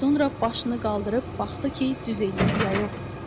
Sonra başını qaldırıb baxdı ki, düz eləyib ya yox.